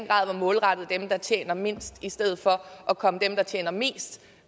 grad var målrettet dem der tjener mindst i stedet for at komme dem der tjener mest